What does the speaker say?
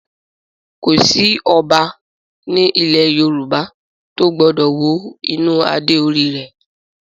Kò sí Ọba ní ilẹ̀ Yorùbá tó gbọ́dọ̀ wo inú adé orí rẹ̀